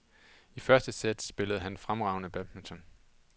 I første sæt spillede han fremragende badminton.